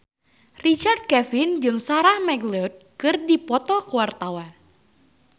Richard Kevin jeung Sarah McLeod keur dipoto ku wartawan